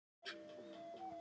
Innanlandsflug liggur niðri